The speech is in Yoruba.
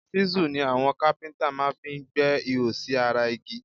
ṣísù ni àwọn kápíntà máa fi ń gbẹ́ ihò sí ara igi